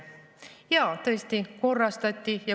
Jaa, tõesti korrastati.